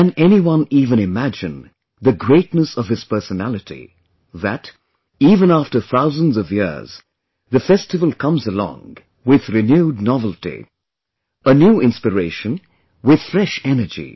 Can anyone even imagine the greatness of his personality, that, even after thousands of years, the festival comes along with renewed novelty, a new inspiration with fresh energy